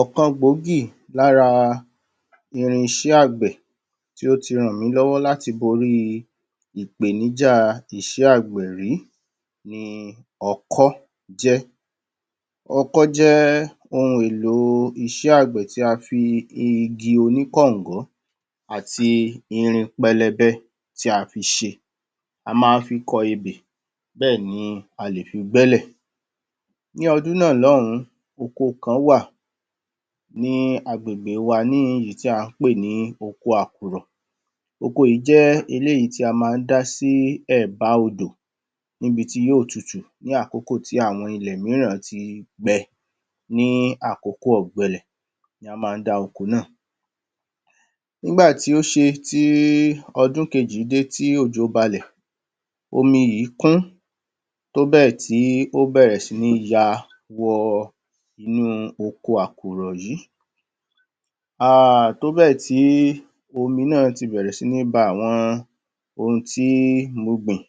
ọ̀kan gbòógì lára irinṣẹ́ àgbẹ̀ tí ó ti ràn mí lọ́wọ́ lati borí ìpèníjà iṣẹ́ àgbẹ̀ rí ni ọkọ́ jẹ́ ọkọ́ jẹ́ ohun èlò iṣẹ́ àgbẹ̀ tí a fi igi oní kọ̀ǹgọ́ àti irin pẹlẹbẹ tí a fi ṣe a má án fi kọ ebè bẹ́ẹ̀ni a lè fi gbẹ́lẹ̀ ní ọdún náà l’ọ̀hún oko kan wà ní agbègbè wa ní èyí tí à ń pè ní oko àkùrọ̀ oko yìí jẹ́ iléyìí tí a má án dá sí ẹ̀bá odò níbi tí yóò tutù ní àkókò tí àwọn ilẹ̀ míràn ti gbẹ ní àkókò ọ̀gbẹlẹ̀ ni a má án dá oko náà nígbàtí ó ṣe ti ọdún kejì dé tí ojò balẹ̀ omi yìí kún tóbẹ̀ tí ó bẹ̀rẹ̀ sí ní ya wọ inú oko àkùrọ̀ yìí um tóbẹ̀ tí omi náà ti bẹ̀rẹ̀ sí ní ba àwọn ohun tí mo gbìn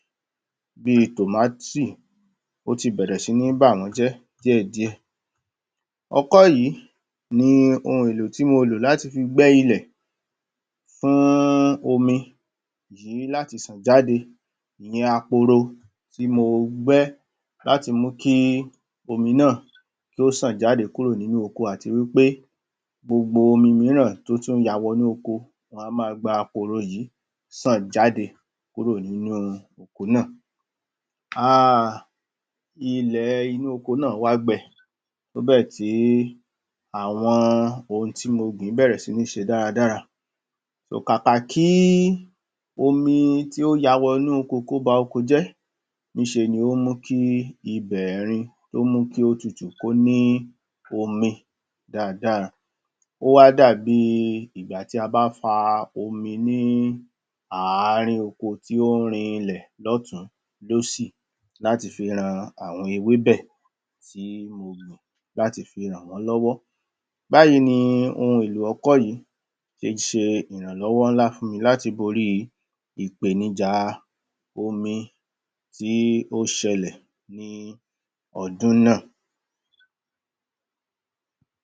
bí i tòmátì o tí bẹ̀rẹ̀ sí ní bà wọ́n jẹ́ díẹ̀-díẹ̀ ọkọ́ yìí ni ohun èlò tí mo lò láti fi gbẹ́ ilẹ̀ fún omi yìí láti ṣàn jáde ni akoro tí mo gbẹ́ láti mú kí omi náà kí ó ṣàn jáde kúrò nínú oko àtiwípé gbogbo omi míràn tó tún ya wọ inú oko wọ́n a ma gba woro yìí ṣàn jáde kúrò nínú oko náà um ilẹ̀ inú oko náà wá gbẹ tó bẹ̀ tí àwọn ohun tí mo gbìn bẹ̀rẹ̀ sí ní ṣe dáradára kàkàkí omi tí ó ya wọ inú oko ba oko jẹ́ níṣeni ó mú kí ibẹ̀ rin ó mú kí ó tutù kó ní omi dáadáa ó wá dàbí ìgbàtí a bá fa omi ní àárín oko tí ón rin ilẹ̀ lọ́tun lósì láti fi han àwọn ewé bẹ̀ tí mo gbìn láti fi ràn wón báyìí ni ohun èlò ọkọ́ yìí ṣe ṣe irànlọ́wọ́ ńlá fún mi láti borí ìpènijà omi tí ó ṣẹlẹ̀ ní ọdún náà